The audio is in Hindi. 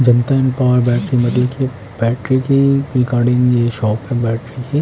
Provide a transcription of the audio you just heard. Janata and power battery battery की ये शॉप है बैट्री कि--